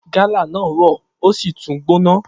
Gálà náà rọ ó sì tún gbóná